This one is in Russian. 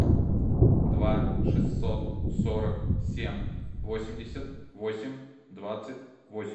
два шестьсот сорок семь восемьдесят восемь двадцать восемь